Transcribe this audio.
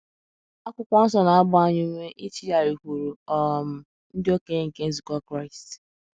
akwụkwo nsọ na - agba anyị ume ichigharịkwuru um “ ndị okenye nke nzukọ Kraịst. ”